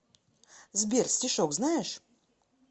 сбер стишок знаешь